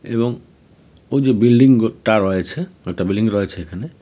এবং ওই যে বিল্ডিংগু-টা রয়েছে একটা বিল্ডিং রয়েছে এখানে .